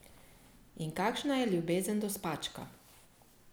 In kakšna je ljubezen do spačka?